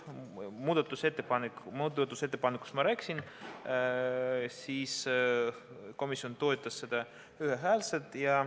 Muudatusettepanekust ma rääkisin, komisjon toetas seda ühehäälselt.